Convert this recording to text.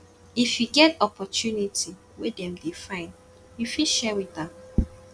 if yu get opportunity wey em dey find yu fit share wit am